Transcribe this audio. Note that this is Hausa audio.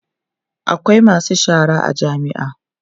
akwai masu shara a jami'a